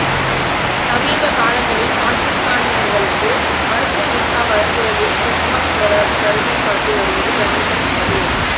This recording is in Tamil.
சமீப காலங்களில் பாகிஸ்தானியர்களுக்கு மருத்துவ விசா வழங்குவதில் சுஷ்மா ஸ்வராஜ் கருணை காட்டி வருவது கவனிக்கத்தக்கது